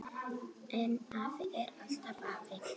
En afi er alltaf afi.